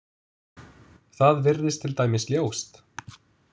Það virðist til dæmis ljóst.